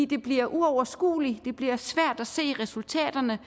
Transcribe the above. det bliver uoverskueligt det bliver svært at se resultaterne